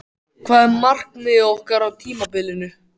Hvað er markmiðið okkar á tímabilinu?